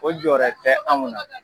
O jɔɔrɛ tɛ anw na.